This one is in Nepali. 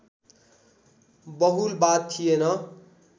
बहुलवाद थिएन